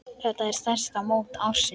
Þetta er stærsta mót ársins.